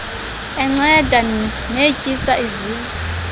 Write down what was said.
enceda netyisa izizwe